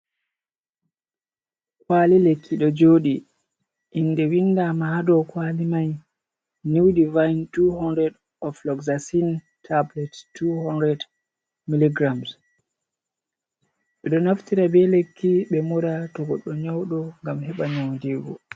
Kuwali lekki ɗo jooɗi, innde winndaama haa dow kuwali may, niw divayin 200 oof lojjasin tabulet 200 miligiram. Ɓe ɗo naftira be lekki, ɓe mura to goɗɗo nyawɗo, ngam heɓa nyawndeego.